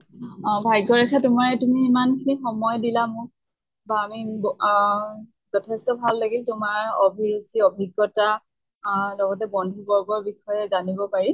অ ভাগ্য়ৰেখা তোমাৰ তুমি ইমান খিনি সময় দিলা মোক আহ যথেষ্ট ভাল লাগিল তোমাৰ অভিৰুচি অভিজ্ঞ্তা অহ লগতে বন্ধু বৰ্গৰ বিষয়ে জানব পাৰি